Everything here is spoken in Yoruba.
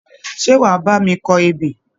Ṣé wà á bá mi kọ ebè?